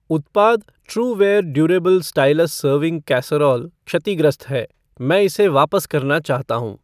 उत्पाद Truware durable stylus serving casserole क्षतिग्रस्त है, मैं इसे वापस करना चाहता हूँ।